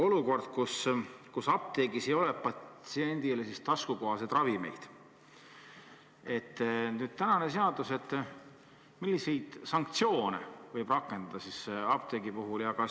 Olukorras, kus apteegis ei ole patsiendile taskukohaseid ravimeid, milliseid sanktsioone võib praeguse seaduse järgi rakendada apteegi puhul?